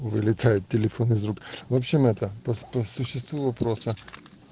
вылетает телефон из рук в общем это по по существу вопроса